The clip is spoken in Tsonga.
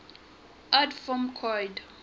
adv form coid